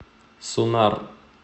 сунар